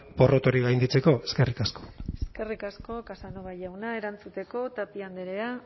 porrot hori gainditzeko eskerrik asko eskerrik asko casanova jauna erantzuteko tapia andrea